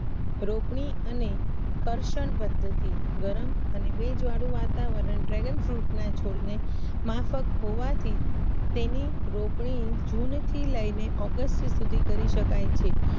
રોપની અને કરસન પદ્ધતિ ગરમ અને બોવ જાડુ વાતાવરણ Dragon Fruit ના છોડને માફક હોવાથી તેની રોપણી જુન થી લયને ઓગસ્ટ સુધી કરી શકાય છે